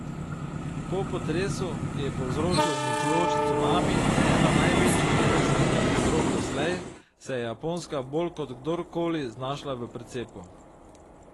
Po potresu, ki je povzročil uničujoč cunami in eno največjih jedrskih katastrof doslej, se je Japonska bolj kot kdor koli znašla v precepu.